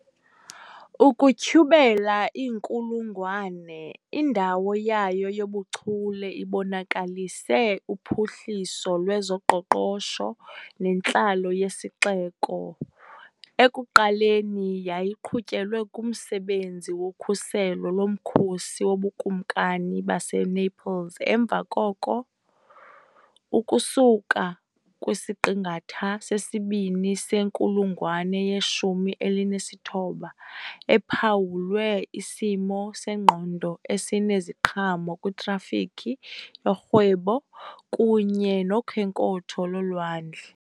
Ukutyhubela iinkulungwane, indawo yayo yobuchule ibonakalise uphuhliso lwezoqoqosho nentlalo yesixeko, ekuqaleni yayinqunyelwe kumsebenzi wokhuselo lomkhosi woBukumkani baseNaples emva koko, ukusuka kwisiqingatha sesibini senkulungwane yeshumi elinesithoba, ephawulwe isimo sengqondo esineziqhamo kwitrafikhi yorhwebo kunye nokhenkotho lolwandle.